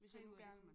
Hvis jeg nu gerne